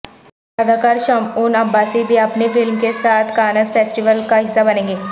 اداکارشمعون عباسی بھی اپنی فلم کے ساتھ کانزفیسٹیول کا حصہ بنیں گے